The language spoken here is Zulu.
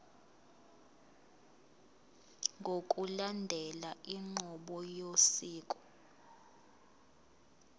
ngokulandela inqubo yosiko